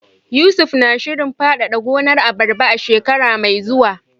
Yusuf na shirin fadada gonar abarba a shekara mai zuwa.